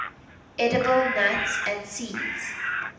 edible nuts and seeds